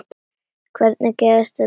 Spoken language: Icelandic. Hvernig gæti þessu verið lokið?